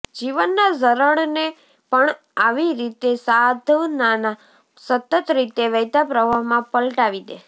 જીવનના ઝરણને પણ આવી રીતે સાધનાના સતત રીતે વહેતા પ્રવાહમાં પલટાવી દે